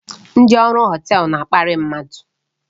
Ndị ọrụ họtel na-akparị mmadụ